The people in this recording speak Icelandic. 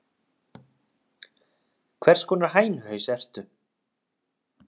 Hvers konar hænuhaus ertu?